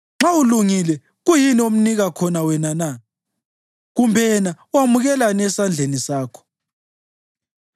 Nxa ulungile, kuyini omnika khona wena na, kumbe yena wamukelani esandleni sakho?